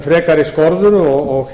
frekari skorður og